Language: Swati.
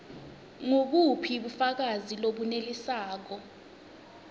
ngubuphi bufakazi lobunelisako